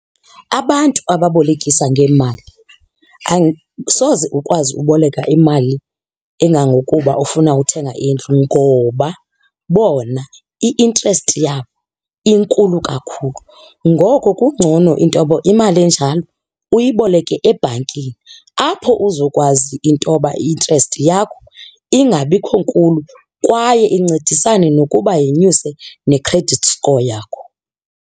Abantu ababolekisa ngeemali soze ukwazi uboleka imali engangokuba ufuna uthenga indlu ngoba bona i-interest yabo inkulu kakhulu. Ngoko kungcono intoba imali enjalo uyiboleke ebhankini apho uzokwazi intoba i-interest yakho ingabikho nkulu kwaye incedisane nokuba yenyuse ne-credit score yakho.